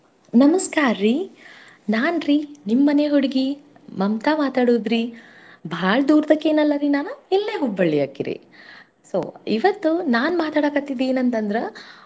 ನಮ್ಸ್ಕಾರ್ರೀ. ನಾನ್ರಿ ನಿಮ್ಮನೆ ಹುಡ್ಗಿ ಮಮ್ತಾ ಮಾತಾಡೋದ್ರಿ. ಭಾಳ್ ದೂರ್ದ್ದಕಿ ಏನಲ್ಲಾರಿ ನಾನು ಇಲ್ಲೆ Hubballi ಯಾಕಿರಿ. so ಇವತ್ತು ನಾನ್ ಮಾತಾಡಕತ್ತಿದ್ ಏನಂತಂದ್ರ.